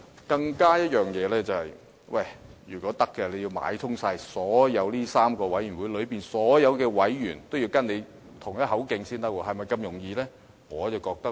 更重要的是，任何違紀人員也要先買通上述3個委員會內所有委員，與他同一口徑，是否這麼容易可辦到呢？